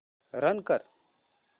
run कर